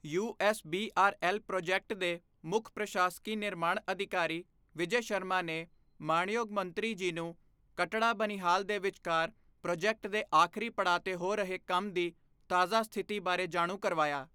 USBRL project ਦੇ ਮੁੱਖ ਪ੍ਰਸ਼ਾਸਕੀ ਨਿਰਮਾਣ ਅਧਿਕਾਰੀ ਵਿਜੈ ਸ਼ਰਮਾ ਨੇ ਮਾਣਯੋਗ ਮੰਤਰੀ ਜੀ ਨੂੰ ਕਟੜਾ ਬਨਿਹਾਲ ਦੇ ਵਿਚਕਾਰ ਪ੍ਰੋਜੈਕਟ ਦੇ ਆਖਰੀ ਪੜਾਅ ਤੇ ਹੋ ਰਹੇ ਕੰਮ ਦੀ ਤਾਜ਼ਾ ਸਥਿਤੀ ਬਾਰੇ ਜਾਣੂ ਕਰਵਾਇਆ।